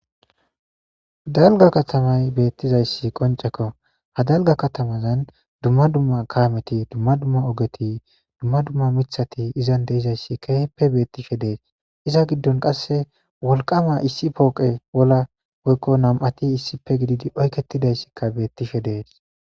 Dalaga katamay betteizaysi qoncceko ha dalga katamazan dumma dumma kameti dumma dumma oggeti dumma dumma miththati izan dizaysi kehippe betishie dess iza gidon qase wolqqama issi pooqey wola woykko nam'ati issippe gididi oyketidaysika bettishe dess.